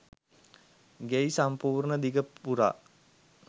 ගෙයි සම්පූර්ණ දිග පුරා